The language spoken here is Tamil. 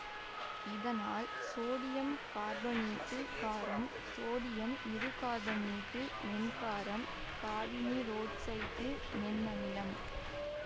இதனால் சோடியம் கார்பனேட்டு காரம் சோடியம் இருகார்பனேட்டு மென்காரம் காபனீரொட்சைட்டு மென் அமிலம்